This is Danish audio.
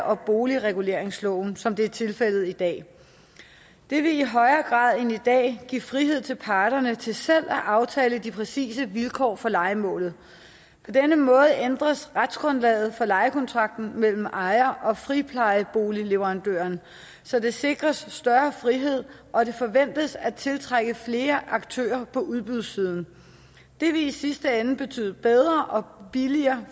og boligreguleringsloven som det er tilfældet i dag det vil i højere grad end i dag give frihed til parterne til selv at aftale de præcise vilkår for lejemålet på denne måde ændres retsgrundlaget for lejekontrakten mellem ejer og friplejeboligleverandør så der sikres en større frihed og det forventes at tiltrække flere aktører på udbudssiden det vil i sidste ende betyde bedre og billigere